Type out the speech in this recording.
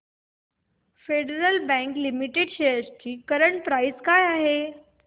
federal Bank Limited shares ची current price काय आहे